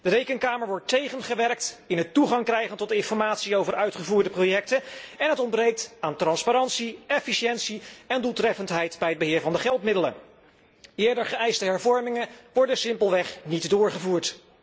De Rekenkamer wordt tegengewerkt bij het toegang krijgen tot informatie over uitgevoerde projecten en het ontbreekt aan transparantie, efficiëntie en doeltreffendheid bij het beheer van de geldmiddelen. Eerder geëiste hervormingen worden simpelweg niet doorgevoerd.